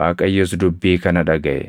Waaqayyos dubbii kana dhagaʼe.